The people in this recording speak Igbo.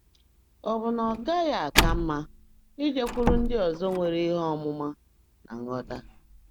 Ọ bụ na ọ gaghị aka mma ijekwuru ndị ọzọ nwere ihe ọmụma na nghọta?